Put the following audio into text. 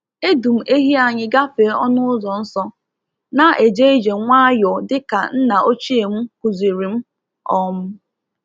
Edu m ehi anyị gafee ọnụ ụzọ nsọ, na-eje ije nwayọọ dịka nna ochie m kụziri m. um